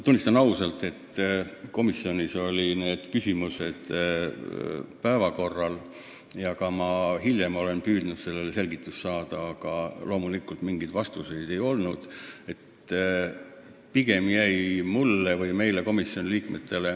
Tunnistan ausalt, et ka komisjonis olid need küsimused päevakorral ja ma ka hiljem olen püüdnud sellele vastust saada, aga mingeid vastuseid ei ole.